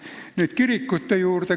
Nüüd kõige lõpuks kirikute juurde.